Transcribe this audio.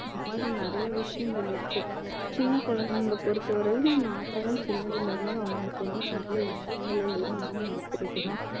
இந்த மாதிரி நிறைய விஷயங்கள் இருக்கு சின்ன குழந்தைங்கள பொறுத்தவரையில நாமதா சின்னதுல இருந்து அவங்களுக்கு வந்து நல்ல விஷயங்கள learn பண்ண கொடுக்கணும்